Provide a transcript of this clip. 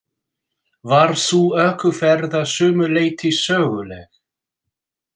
Var sú ökuferð að sumu leyti söguleg.